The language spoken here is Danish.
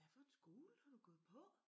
Hvad for en skole har du gået på?